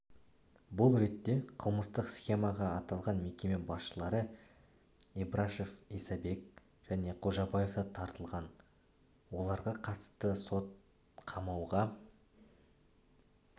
бұл ретте қылмыстық схемаға аталған мекеме басшылары ибрашев исабек және қожабаев та тартылған оларғақатысты сот қамауға